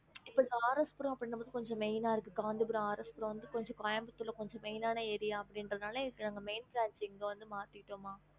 இப்ப RS main இருக்கு காஞ்சிபுர கோயம்புத்தூர்ல அப்டி இன்ரதுனால இங்க வந்து மாத்திட்டோம்